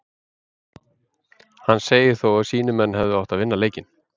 Hann segir þó að sínir menn hefðu átt að vinna leikinn.